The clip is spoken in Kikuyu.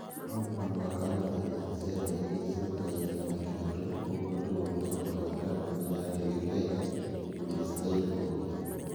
Mũndũ no mũhaka arute mbeca cia ndege iria ciokaga itarĩ na kĩndũ". ũguo nĩguo mũtongoria wa kambuni ya ndege Kenya, Julius Thairũ oigire.